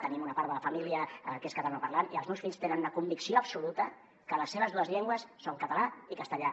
tenim una part de la família que és catalanoparlant i els meus fills tenen una convicció absoluta que les seves dues llengües són català i castellà